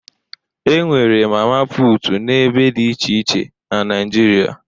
E nwere mama puutu n'ebe dị iche iche na Naịjirịa